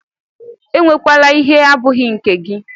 Ewekwala ihe abụghị nke gị!